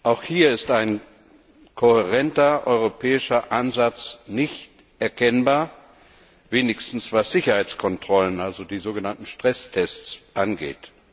Auch hier ist kein kohärenter europäischer Ansatz erkennbar, wenigstens was Sicherheitskontrollen, also die sogenannten Stresstests angeht.